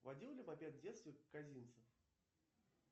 водил ли мопед в детстве козинцев